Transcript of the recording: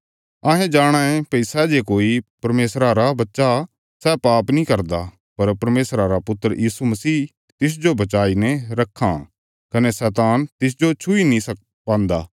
अहें जाणाँ ये भई सै जे कोई परमेशरा बच्चा सै पाप नीं करदा पर परमेशरा रा पुत्र यीशु मसीह तिसजो बचाईने रक्खां कने शैतान तिसजो छुई नीं पान्दा